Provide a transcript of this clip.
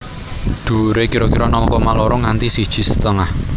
Dhuwuré kira kira nol koma loro nganti siji setengah